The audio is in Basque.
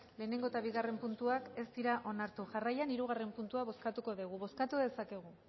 lehenengo eta bigarren puntuak ez dira onartu jarraian hirugarren puntua bozkatuko dugu bozkatu dezakegu